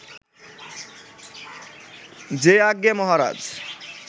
যে আজ্ঞে মহারাজ